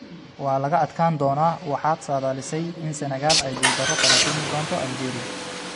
waa laga adkaan doonaa Waxaad saadaalisay in Senegal ay guuldaro kala kulmi doonto Algeria.